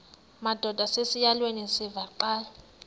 madod asesihialweni sivaqal